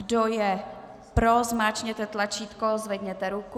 Kdo je pro, zmáčkněte tlačítko, zvedněte ruku.